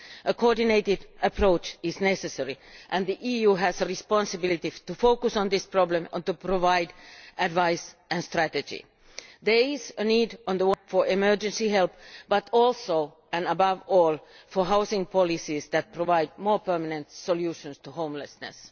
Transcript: A coordinated approach is necessary, and the EU has a responsibility to focus on this problem and to provide advice and strategy. There is a need for emergency help but also and above all for housing policies that provide a more permanent solution to homelessness.